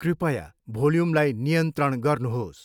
कृपया भोल्युमलाई नियन्त्रण गर्नुहोस्।